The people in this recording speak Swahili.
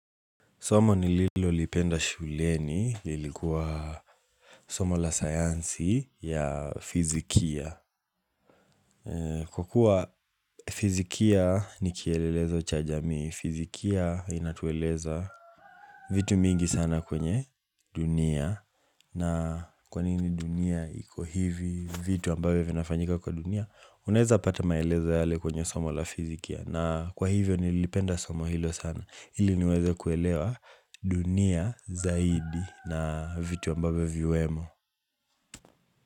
Somo nililolipenda shuleni lilikuwa somo la sayansi ya fizikia. Kwa kuwa fizikia ni kielelezo cha jamii, fizikia inatueleza vitu mingi sana kwenye dunia. Na kwa nini dunia iko hivi vitu ambavyo vinafanyika kwa dunia, unaeza pata maelezo yale kwenye somo la fizikia. Na kwa hivyo nilipenda somo hilo sana ili niweze kuelewa dunia zaidi na vitu ambavyo viwemo.